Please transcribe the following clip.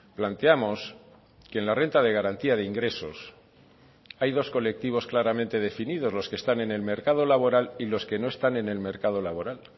planteamos que en la renta de garantía de ingresos hay dos colectivos claramente definidos los que están en el mercado laboral y los que no están en el mercado laboral